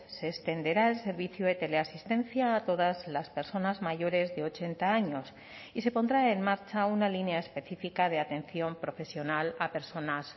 se extenderá el servicio de teleasistencia a todas las personas mayores de ochenta años y se pondrá en marcha una línea específica de atención profesional a personas